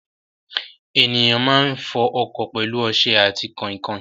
Ènìyàn máa ń fọ ọkọ̀ pẹlú ọsẹ ati kain kain